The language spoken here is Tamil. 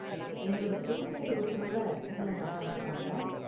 எங்களோட டூர் கைடு ஒருத்தரோட உங்கள நான் கனெக்ட் பண்றேன்.